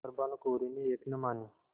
पर भानुकुँवरि ने एक न मानी